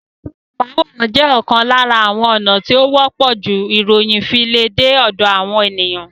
Ẹ̀rọ amóhùnmáwòrán jẹ́ ọ̀kan lára àwọn ònà tí ó wọ́pọ̀ jù ìròyìn fi le dé ọ̀dọ̀ àwọn ènìyàn